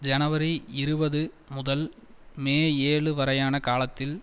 ஜனவரி இருபது முதல் மே ஏழு வரையான காலத்தில்